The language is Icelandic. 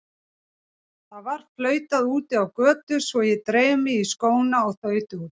Það var flautað úti á götu svo ég dreif mig í skóna og þaut út.